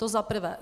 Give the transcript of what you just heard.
To za prvé.